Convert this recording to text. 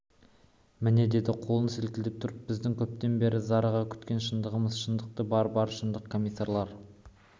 міне деді қолын сілкілеп тұрып біздің көптен бері зарыға күткен шындығымыз шындық бар бар шындық комиссарлар